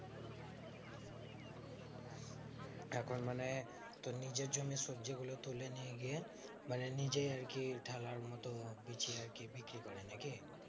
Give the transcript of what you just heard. এখন মানে তোর নিজের জন্য সবজি গুলো তুলে নিয়ে গিয়ে মানে নিজেই আরকি ঠেলার মতো বিচে আরকি বিক্রি করে নাকি